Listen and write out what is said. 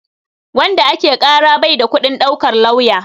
Wanda ake ƙara bai da kuɗin ɗaukar lauya.